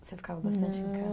Você ficava bastante em ca